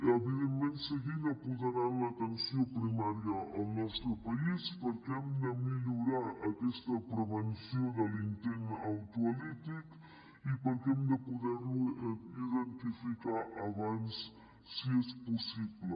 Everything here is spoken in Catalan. evidentment seguint apoderant l’atenció primària al nostre país perquè hem de millorar aquesta prevenció de l’intent autolític i perquè hem de poder lo identificar abans si és possible